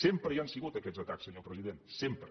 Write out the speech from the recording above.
sempre hi han sigut aquests atacs senyor president sempre